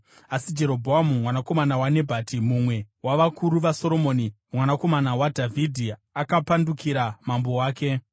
Asi Jerobhoamu mwanakomana waNebhati, mumwe wavakuru vaSoromoni, mwanakomana waDhavhidhi akapandukira mambo wake.